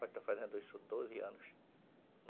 Vai estar fazendo isso doze anos.